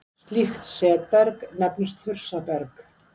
Slíkt setberg nefnist þursaberg.